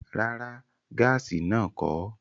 Rárá, gaasi náà kọ̀ ọ́